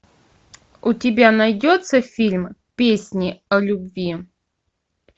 у тебя найдется фильм песни о любви